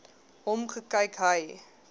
hom gekyk hy